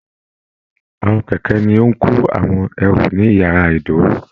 Àwọn kẹkẹ ní o n kò àwọn ẹrú ní yàrá ìdúró